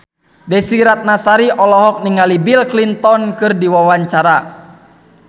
Desy Ratnasari olohok ningali Bill Clinton keur diwawancara